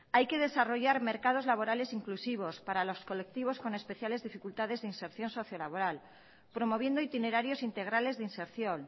hay que desarrollar mercados laborales inclusivos para los colectivos con especiales dificultades de inserción socio laboral promoviendo itinerarios integrales de inserción